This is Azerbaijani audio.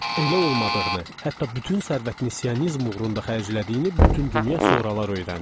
Elə olmadığını, hətta bütün sərvətini Siyonizm uğrunda xərclədiyini bütün dünya sonralar öyrəndi.